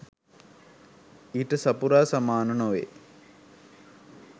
ඊට සපුරා සමාන නොවේ